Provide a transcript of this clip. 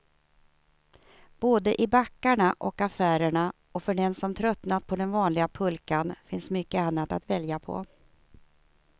Både i backarna och affärerna, och för den som tröttnat på den vanliga pulkan finns mycket annat att välja på.